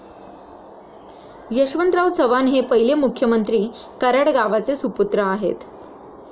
यशवंतराव चव्हाण हे पहिले मुख्यमंत्री कराड गावाचे सुपुत्र आहेत.